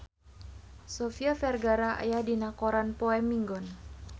Sofia Vergara aya dina koran poe Minggon